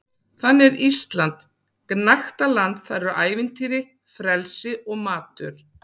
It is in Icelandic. Þannig er Ísland gnægtaland- þar eru ævintýri, frelsi og matur.